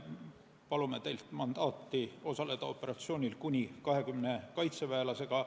Palume teilt mandaati osaleda operatsioonil kuni 20 kaitseväelasega.